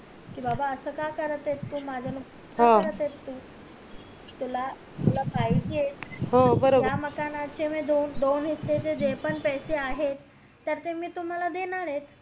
कि बाबा असं का करत येसतू का करत येस तू तुला तुला पाहिजेत या मकाना चे दोन दोन हिस्से चे जे पण पैसे आहेत त्याचे मी तुम्हला देणार ये